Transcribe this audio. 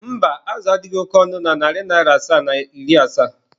mba, azụ a adịghị oke ọnụ na narị naịra asaa na iri asaa.